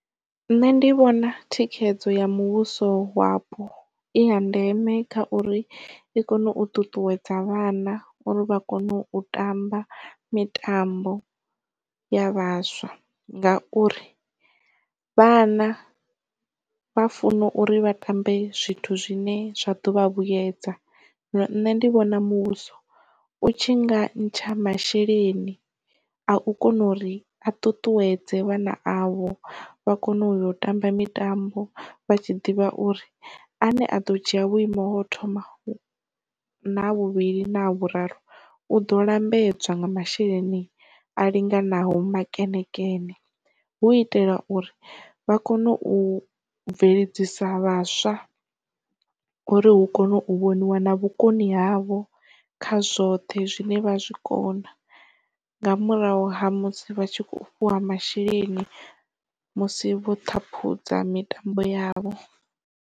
Nṋe ndi vhona thikhedzo ya muvhuso wapo i ya ndeme kha uri i kone u ṱuṱuwedza vhana uri vha kone u tamba mitambo ya vhaswa ngauri vhana vha funa uri vha tambe zwithu zwine zwa ḓovha vhuyedza. Zwino nṋe ndi vhona muvhuso u tshi nga ntsha masheleni a u kona uri a ṱuṱuwedze vhana avho vha kone u ya u tamba mitambo vha tshi ḓivha uri a ne a ḓo dzhia vhuimo hau thoma naha vhuvhili na ha vhuraru u ḓo lambedzwa nga masheleni a linganaho makenekene, hu itela uri vha kone u bveledzisa vhaswa uri hu kone u vhoniwa na vhukoni havho kha zwoṱhe zwine vha zwikona nga murahu ha musi vha tshi kho fhiwa masheleni musi vho ṱhaphudza mitambo yavho.